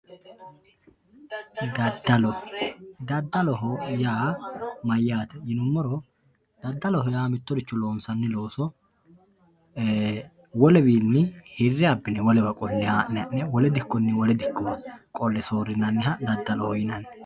Dadallo, dadalloho yaa mayate yinumoro dadalloho yaa mitoricho loonsanni looso wolewinni hire abine wolewa qole haa'ne ha'ne wole dikkonni wolewa dikko qole soorinaniha dadalloho yinanni